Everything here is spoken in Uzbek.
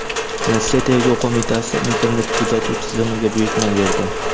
Rossiya Tergov qo‘mitasi internet-kuzatuv tizimiga buyurtma berdi.